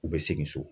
U bɛ segin so